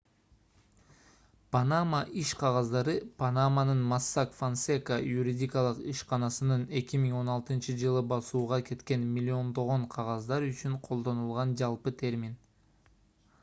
панама иш кагаздары - панаманын mossack fonseca юридикалык ишканасынын 2016-ж басууга кеткен миллиондогон кагаздар үчүн колдонулган жалпы термин